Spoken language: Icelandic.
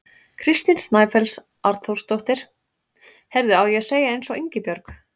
Kristín Snæfells Arnþórsdóttir: Heyrðu, á ég að segja eins og Ingibjörg?